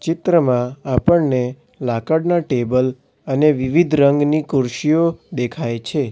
ચિત્રમાં આપણને લાકડના ટેબલ અને વિવિધ રંગની ખુરશીઓ દેખાય છે.